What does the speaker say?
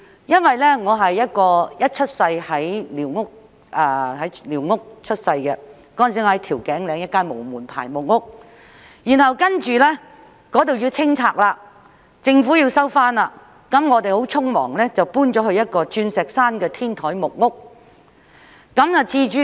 因為我是在寮屋出生的，當時居於調景嶺一間無門牌的木屋，然後那裏因政府要收回而要清拆，我們便很匆忙地遷到一間在鑽石山的天台木屋。